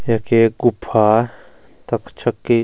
यख एक गुफ्फा तख छकी --